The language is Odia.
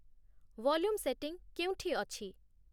ଭଲ୍ୟୁମ୍ ସେଟିଂ କେଉଁଠି ଅଛି